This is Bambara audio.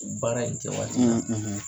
U baara in kɛ waati la,